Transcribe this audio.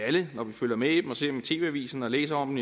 alle når vi følger med i dem ser dem i tv avisen og læser om